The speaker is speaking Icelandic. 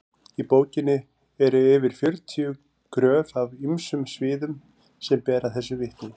í bókinni eru yfir fjörutíu gröf af ýmsum sviðum sem bera þessu vitni